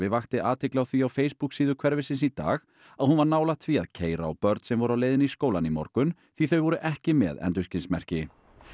vakti athygli á því á Facebook síðu hverfisins í dag að hún var nálægt því að keyra á börn sem voru á leiðinni í skólann í morgun því þau voru ekki með endurskinsmerki